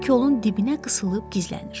Bir kolun dibinə qısılıb gizlənir.